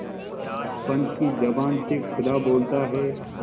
पंच की जबान से खुदा बोलता है